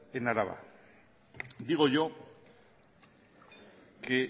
en araba digo yo que